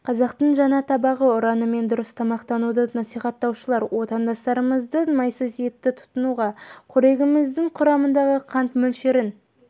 қазақтың жаңа табағы ұранымен дұрыс тамақтануды насихаттаушылар отандастарымызды майсыз етті тұтынуға қорегіміздің құрамындағы қант мөлшерін